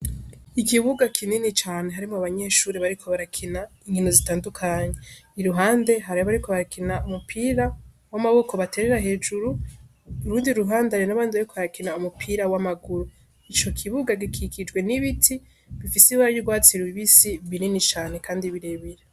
Ikibuga kinini cane harimwo abanyeshure bariko barakina inkino zitandukanye, iruhande hari abariko barakina umupira w'amaboko baterera hejuru, urundi ruhande hari n'abandi bariko barakina umupira w'amaguru, ico kibuga gikikijwe n'ibiti bifise ibara ry'urwatsi rubisi binini cane kandi birebire.